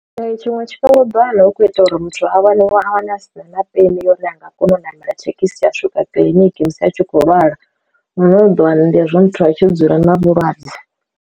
Ee tshiṅwe tshifhinga u ḓowana hu kho ita uri muthu a wane we a wana a sina na peni uri a nga kona u ṋamela thekhisi ya swika kiḽiniki musi a tshi khou lwala, hune u ḓo wana ndi hezwi muthu a tshi dzula na vhulwadze.